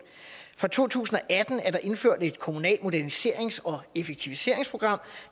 fra to tusind og atten er der indført et kommunalt moderniserings og effektiviseringsprogram